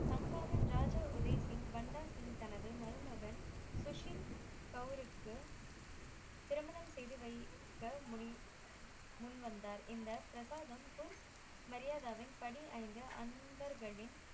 ஜாஜா ஒரேசிங் பண்டா சிங் தனது மருமகன் சுசின்கவுருக்கு திருமணம் செய்து வைக்க முடி முன் வந்தார் இந்த பிரசாதம் குர் மரியாதவின் படி ஐந்து அன்பர்களின்